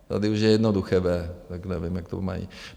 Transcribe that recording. Tady už je jednoduché v, tak nevím, jak to mají.